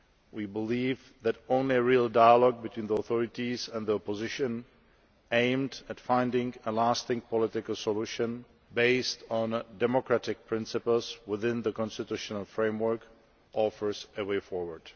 We believe that only real dialogue between the authorities and the opposition, aimed at finding a lasting political solution, based on democratic principles within the constitutional framework, offers a way forward.